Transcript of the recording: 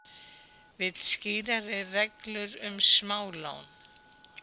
Vill skýrari reglur um smálán